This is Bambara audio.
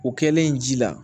O kɛlen ji la